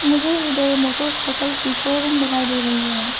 मुझे इधर मोटरसाइकिल की शोरूम दिखाई दे रही है।